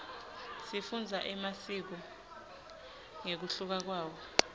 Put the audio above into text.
sifundza emasiko ngekunluka kwawo